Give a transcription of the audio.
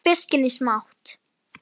Skerið fiskinn smátt.